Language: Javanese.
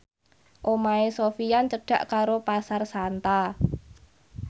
omahe Sofyan cedhak karo Pasar Santa